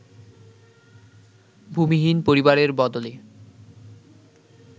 ভূমিহীন পরিবারের বদলে